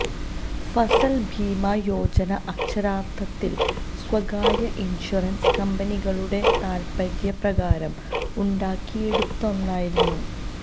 ഫസല് ഭീമ യോജന അക്ഷരാര്ഥത്തില് സ്വകാര്യ ഇന്ഷ്വറന്സ് കമ്പനികളുടെ താല്പ്പര്യപ്രകാരം ഉണ്ടാക്കിയെടുത്ത ഒന്നായിരുന്നു